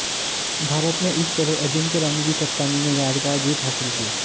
भारत ने इस तरह अजिंक्या रहाणे की कप्तानी में यादगार जीत हासिल की